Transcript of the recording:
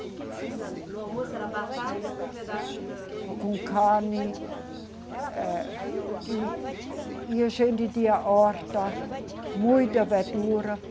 O que que se janta. No almoço era batata com pedaço de. Com carne, eh, e, e a gente tinha horta, muita verdura.